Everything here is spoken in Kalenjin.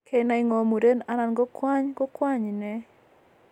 Kenai ngo muren anan kwony ko kwony inei